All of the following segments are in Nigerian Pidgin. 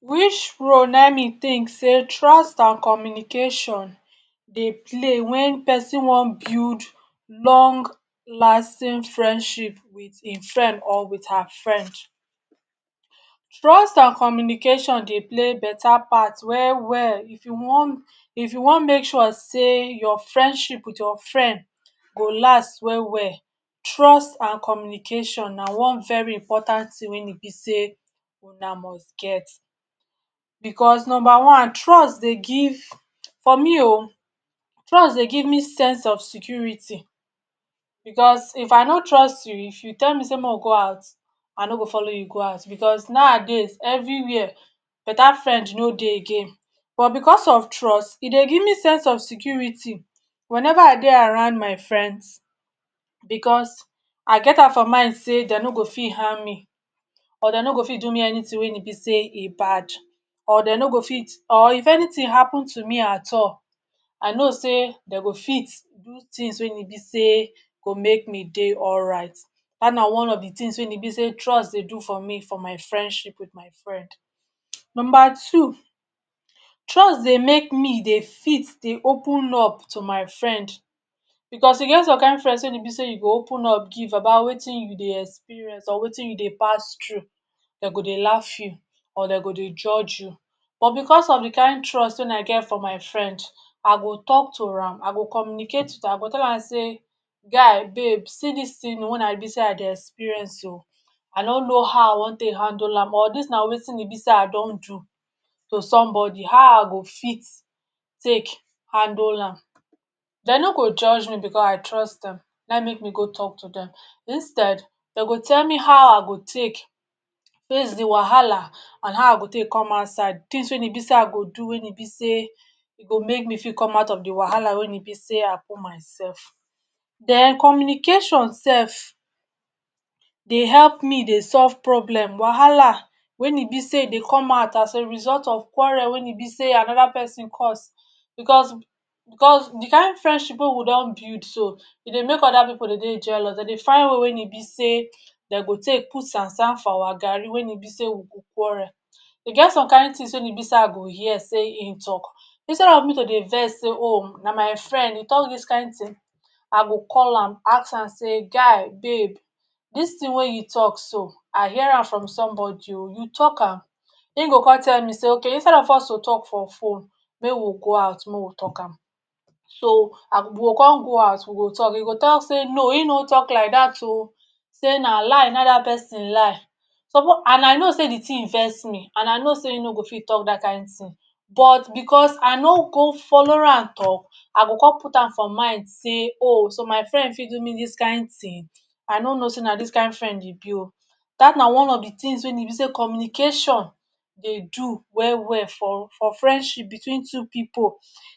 Which role naim me think sey trust and communication dey play when pesin wan build long lasting friendship with im friend or with her friend? Trust and communication dey play better part well-well if you wan if you wan make sure sey your friendship with your friend go last well-well, trust and communication na one very important thing wey e be sey una must get. Because number one, trust dey give, for me o, trust dey give me sense of security. Because if I no trust you, if you tell me sey make we go out, I no go follow you go out because nowadays, everywhere, better friend no dey again. But because of trust, e dey give me sense of security whenever I dey around my friends, because I get am for mind sey de no go fit harm me or de no go fit do me anything wey e be sey e bad. Or de no go fit or if anything happen to me at all, I know sey de go fit do things wey e be sey go make me dey alright. That na one of the things wey e be sey trust dey do for me for my friendship with my friend. Number two. Trust dey make me dey fit dey open up to my friend. Because e get some kind friends wey e be sey you go open up give about wetin you dey experience or wetin you dey pass through, de go dey laff you or de go dey judge you. But because of the kind trust wey I get for my friend, I go talk to am; I go communicate with am. I go tell am sey ‘guy, babe, see dis thing o wey I be sey I dey experience o, I no know how I wan take handle am or dis na wetin e be sey I don do to somebody, how I go fit take handle am?’ De no go judge me because I trust am. Naim make me go talk to dem. Instead, de go tell me how I go take face the wahala and how I go take come outside – things wey e be sey I go do wey e be sey go make me fit come out of the wahala wey e be sey I put myself. Then communication sef dey help me dey solve problem - wahala wey e be sey e dey come out as a result of quarrel we e be sey another pesin cause. Because cos the kind friendship wey we don build so, e dey make other pipu dey dey jealous. De dey find way wey e be sey de go take put sand-sand for awa garri wey e be sey we go quarrel. E get some kind things wey e be sey I go hear sey im talk, instead of me to dey vex sey ‘o! na my friend, e talk dis kind thing’, I go call am ask am sey ‘guy, babe, dis thing wey you talk so, I hear am from somebody o, you talk am?’ Im go come tell me sey ‘okay, instead of us to talk for phone, make we go out make we talk am’. So we go come go out we go talk. E go talk sey ‘no, im no talk like that o! sey na lie nai that pesin lie’. And I know sey the thing vex me, and I know sey im no go fit talk that kind thing. But because I no go follow am talk, I go come put am for mind sey ‘o! so my friend fit do me dis kind thing? I no know sey na dis kind friend e be o?’ That na one of the things wey e be sey communication dey do well-well for for friendship between two pipu.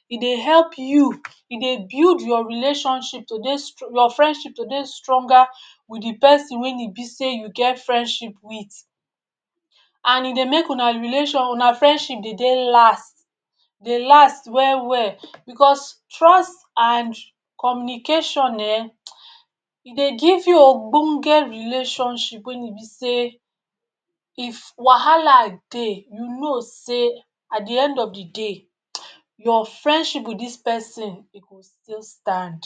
E dey help you, e dey build your relationship to dey your friendship to dey stronger with the pesin wey e be sey you get friendship with. And e dey make una una friendship dey dey last, dey last well-well. Because trust and communication[um][um] e dey give you ogbonge relationship wey e be sey if wahala dey, you know sey at the end of the day, um your friendship with this pesin e go still stand.